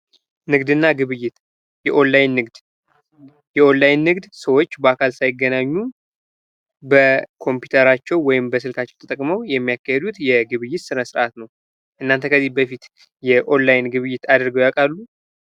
ንግድና ግብይት የኦንላይን ንግድ:- የኦንላይን ንግድ ሰዎች በአካል ሳይገናኙ በኮምፒተራቸው ወይም በስልካቸው ተጠቅሞ የሚያካሄዱት የግብይት ስነ ስርዓት ነው። እናንተጋ ከዚህ በፊት የኦንላይን ግብይት አድርገው ያውቃሉ?